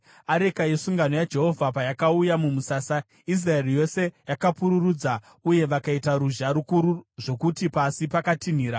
Areka yesungano yaJehovha payakauya mumusasa, Israeri yose yakapururudza uye vakaita ruzha rukuru zvokuti pasi pakatinhira.